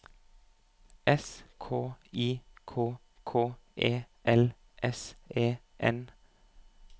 S K I K K E L S E N